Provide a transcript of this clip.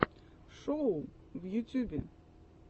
шоу в ютьюбе